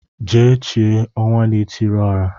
Jee chie Ọnwanaetiriọra